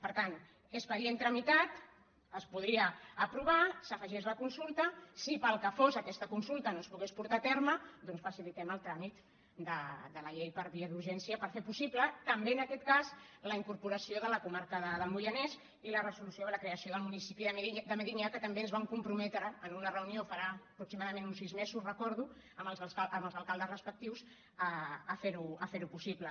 per tant expedient tramitat es podria aprovar s’afegeix la consulta si pel que fos aquesta consulta no es pogués portar a terme doncs facilitem el tràmit de la llei per via d’urgència per fer possible també en aquest cas la incorporació de la comarca del moianès i la resolució de la creació del municipi de medinyà que també ens van comprometre en una reunió farà aproximadament uns sis mesos recordo amb els alcaldes respectius a ferho possible